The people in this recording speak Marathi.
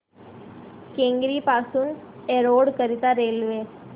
केंगेरी पासून एरोड करीता रेल्वे